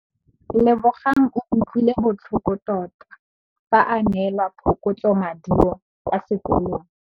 Lebogang o utlwile botlhoko tota fa a neelwa phokotsômaduô kwa sekolong.